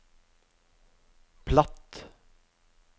platt